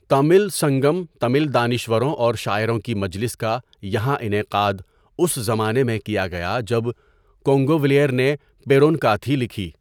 تمل سنگم تمل دانشوروں اور شاعروں کی مجلس کا یہاں انعقاد اس زمانے میں کیا گیا جب کونگویلیر نے پیرونکاتھی لکھی.